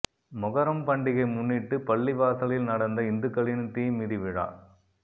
மொகரம் பண்டிகை முன்னிட்டு பள்ளிவாசலில் நடந்த இந்துக்களின் தீ மிதி விழா